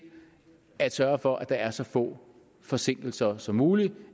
at sørge for at der er så få forsinkelser som muligt